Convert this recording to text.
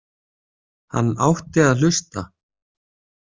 Hann átti að hlusta.